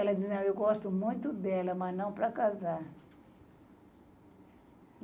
Ela dizia, eu gosto muito dela, mas não para casar.